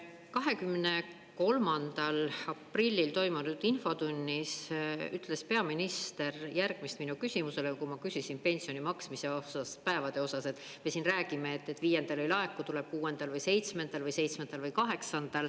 23. aprillil toimunud infotunnis ütles peaminister järgmist mu küsimusele, kui ma küsisin pensioni maksmise päevade osas, et me siin räägime, et viiendal ei laeku, tuleb kuuendal või seitsmendal või seitsmendal või kaheksandal.